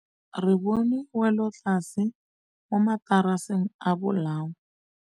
Re bone wêlôtlasê mo mataraseng a bolaô.